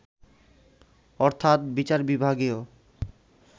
অর্থাৎ বিচার বিভাগীয়